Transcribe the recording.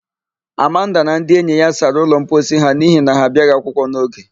Amanda na ndị enyi ya sara ụlọmposi ha n'ihi na ha abịaghị akwụkwọ n'oge.